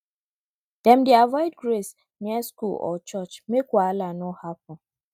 dem dey avoid graze near school or church make wahala no happen